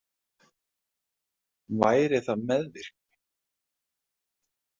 Væri það meðvirkni?